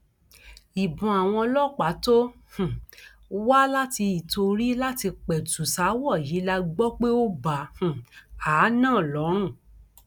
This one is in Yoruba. ìbọn àwọn ọlọpàá tó um wá láti ìtorí láti pẹtù ṣaáwọ yìí la gbọ pé ó bá um a náà lọrun